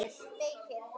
Og svo máluðum við.